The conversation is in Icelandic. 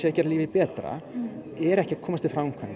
gera lífið betra eru ekki að komast til framkvæmda